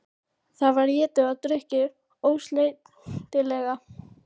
Það var étið og drukkið ósleitilega.